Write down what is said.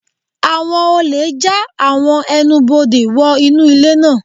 Àwọn olè já àwọn ẹnubodè wò Inu ilé náà.